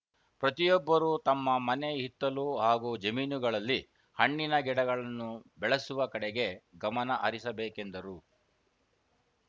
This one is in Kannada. ಪ್ರತಿಯೊಬ್ಬರು ತಮ್ಮ ಮನೆ ಹಿತ್ತಲು ಹಾಗೂ ಜಮೀನುಗಳಲ್ಲಿ ಹಣ್ಣಿನ ಗಿಡಗಳನ್ನು ಬೆಳೆಸುವ ಕಡೆಗೆ ಗಮನ ಹರಿಸಬೇಕೆಂದರು